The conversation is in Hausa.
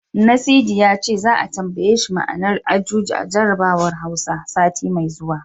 Nasidi ya ce, za'a tambaye shi ma'anar Ajuji a jarabawar Hausa, sati mai zuwa.